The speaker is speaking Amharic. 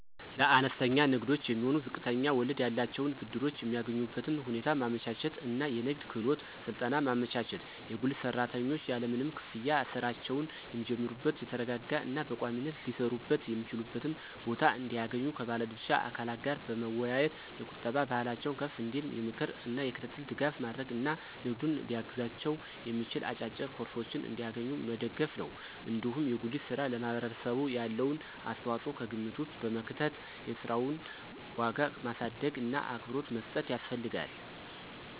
ለአነስተኛ ንግዶች የሚሆኑ ዝቅተኛ ወለድ ያላቸውን ብድሮች የሚያገኙበትን ሁኔታ ማመቻቸት እና የንግድ ክህሎት ስልጠና ማመቻቸት፣ የጉሊት ሰራተኞች ያለምንም ክፍያ ሥራቸውን የሚጀምሩበት የተረጋጋ እና በቋሚነት ሊሰሩበት የሚችሉበትን ቦታ እንዲያገኙ ከባለ ድርሻ አካላት ጋር መወያየት፣ የቁጠባ ባህላቸው ከፍ እንዲል የምክር እና የክትትል ድጋፍ ማድረግ እና ንግዱን ሊያግዛቸው የሚችል አጫጭር ኮርሶችን እንዲያገኙ መደገፍ ነው። እንዲሁም የጉሊት ሥራ ለማህበረሰቡ ያለውን አስተዋጽኦ ከግምት ውስጥ በመክተት የሥራውን ዋጋ ማሳደግእና አክብሮት መስጠት ያስፈልጋል።